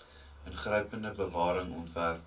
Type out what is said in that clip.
ingrypende bewaring ontwerp